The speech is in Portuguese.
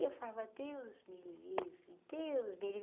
E eu falava, Deus me livre, Deus me livre,